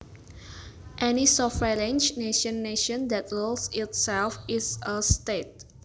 Any sovereign nation nation that rules itself is a state